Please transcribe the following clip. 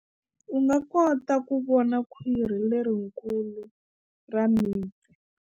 U nga kota ku vona khwiri lerikulu ra mipfi.